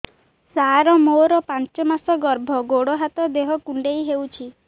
ସାର ମୋର ପାଞ୍ଚ ମାସ ଗର୍ଭ ଗୋଡ ହାତ ଦେହ କୁଣ୍ଡେଇ ହେଉଛି